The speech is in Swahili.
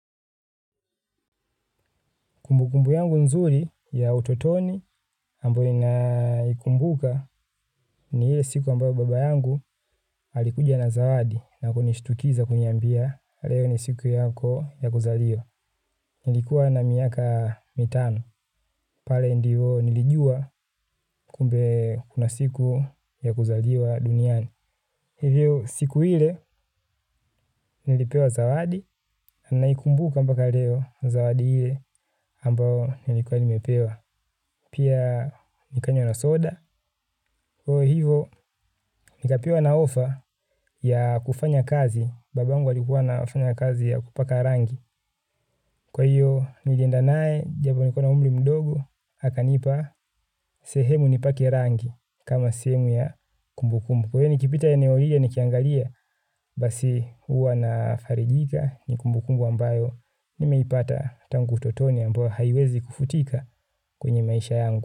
Kumbukumbu yangu nzuri ya utotoni ambayo naikumbuka ni ile siku ambayo baba yangu alikuja na zawadi na kunishtukiza kuniambia leo ni siku yako ya kuzaliwa. Nilikuwa na miaka mitano. Pale ndiyo nilijua kumbe kuna siku ya kuzaliwa duniani. Hivyo siku ile nilipewa zawadi na ninaikumbuka mpaka leo zawadi ile ambayo nilikuwa nimepewa. Pia nikanywa na soda kwa hivyo nikapewa na ofa ya kufanya kazi babangu alikuwa anafanya kazi ya kupaka rangi. Kwa hiyo nilienda naye japo nilikuwa na umri mdogo akanipa sehemu nipake rangi kama sehemu ya kumbukumbu kwa hiyo nikipita eneo hilo nikiangalia basi huwa nafarijika ni kumbukumbu ambayo nimeipata tangu utotoni ambayo haiwezi kufutika kwenye maisha yangu.